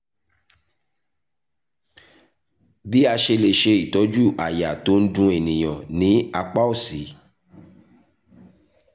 bí a ṣe lè ṣe ìtọ́jú àyà tó n dun ènìyàn ní apá òsì?